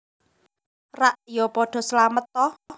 Rak ya padha slamet ta